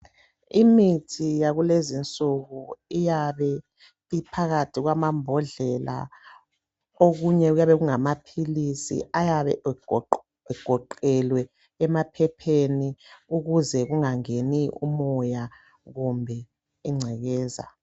Imithi yakulezinsuku iyabe imphakathi kwamambodlela, okunye kuyabe kungamaphikisi ayabe egoqelwe emaphepheni ukuze kungangeni umoya kumbe ingcekeza.